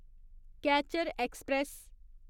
catcher express